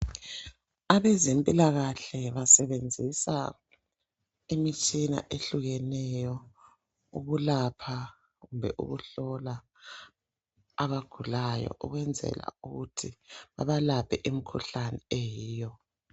Abezempilakahle basebenzisa imitshina ehlukeneyo ukulapha kumbe ukuhlola abagulayo ukwenzela ukuthi babalaphe imkhuhlane eyiyo.